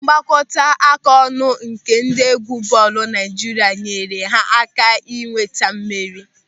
Mgbakọaka ọnụ nke ndị egwu bọọlụ Naịjirịa nyere ha aka ịnweta mmeri.